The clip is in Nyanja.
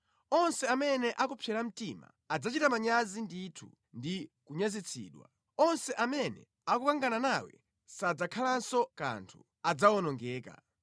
“Onse amene akupsera mtima adzachita manyazi ndithu ndi kunyazitsidwa; onse amene akukangana nawe sadzakhalanso kanthu, adzawonongeka.